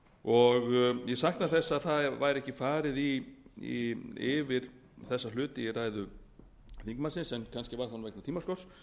hrun ég sakna þess að það var ekki farið yfir þessa hluti í ræðu þingmannsins en kannski var það vegna tímaskorts